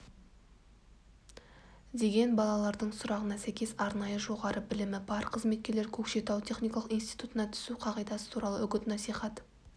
деген балалардың сұрағына сәйкес арнайы жоғары білімі бар қызметкерлер көкшетау техникалық институтына түсу қағидасы туралы үгіт-насихат